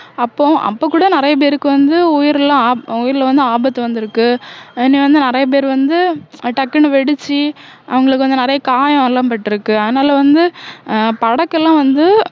அப்போ அப்ப கூட நிறைய பேருக்கு வந்து உயிரெல்லாம் ஆப~ உயிர்ல வந்து ஆபத்து வந்திருக்கு என்னைய வந்து நிறைய பேர் வந்து டக்குன்னு வெடிச்சு அவங்களுக்கு வந்து நிறைய காயம் எல்லாம் பட்டிருக்கு அதனால வந்து அஹ் படக்கெல்லாம் வந்து